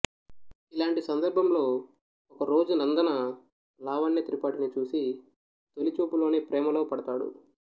ఇలాంటి సందర్భంలో ఓ రోజు నందన లావణ్య త్రిపాఠిని చూసి తొలిచూపులోనే ప్రేమలో పడతాడు